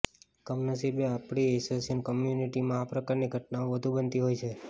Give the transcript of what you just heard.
કમનસીબે આપણી એશિયન કોમ્યુનિટીમાં આ પ્રકારની ઘટનાઓ વધુ બનતી હોય છે